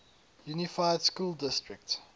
unified school district